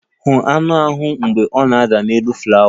Hụ aṅụ ahụ mgbe ọ na-ada n'elu flawa!